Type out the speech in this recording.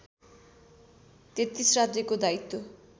३३ राज्यको दायित्व